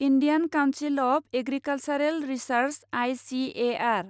Indian council of agricultural research I C A R